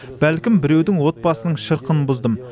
бәлкім біреудің отбасының шырқын бұздым